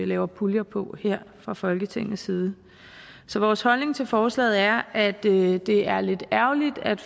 laver puljer på her fra folketingets side så vores holdning til forslaget er at det er det er lidt ærgerligt at